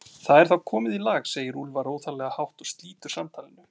Það er þá komið í lag, segir Úlfar óþarflega hátt og slítur samtalinu.